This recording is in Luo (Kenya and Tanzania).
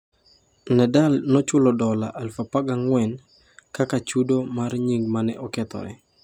Nadal nochulo dola 14,000 kaka chudo mar nying mane okethore